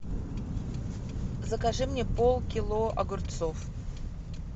закажи мне пол кило огурцов